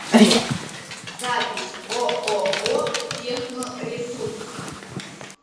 запись ооо техноресурс